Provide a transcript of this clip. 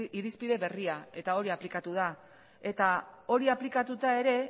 irizpide berria eta hori aplikatu da eta hori aplikatuta ere